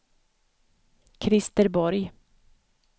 Christer Borg